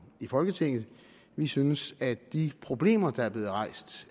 folketinget vi synes at de problemer der